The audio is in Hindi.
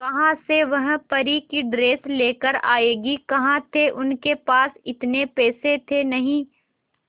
कहां से वह परी की ड्रेस लेकर आएगी कहां थे उनके पास इतने पैसे थे नही